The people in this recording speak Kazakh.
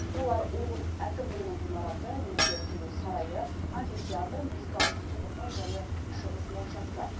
олар облыс әкімдігінің ғимараты неке қию сарайы амфитеатр музыкалық субұрқақ және шығыс моншасы